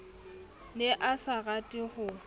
ne a sa rate ho